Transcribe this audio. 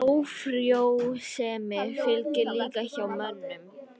Ófrjósemi fylgir líka hjá mönnum.